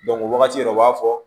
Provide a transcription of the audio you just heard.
o wagati yɛrɛ u b'a fɔ